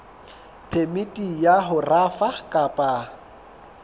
phemiti ya ho rafa kapa